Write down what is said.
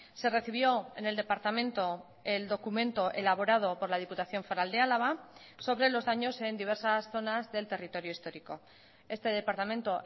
se recibió en el departamento el documento elaborado por la diputación foral de álava sobre los daños en diversas zonas del territorio histórico este departamento